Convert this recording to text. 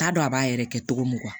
T'a dɔn a b'a yɛrɛ kɛ cogo mun